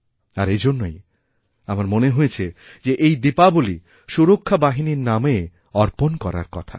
আর এজন্যই আমার মনে হয়েছে যে এই দীপাবলী সুরক্ষা বাহিনীর নামেঅর্পণ করার কথা